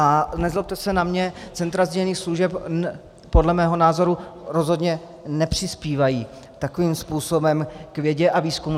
A nezlobte se na mě, centra sdílených služeb podle mého názoru rozhodně nepřispívají takovým způsobem k vědě a výzkumu.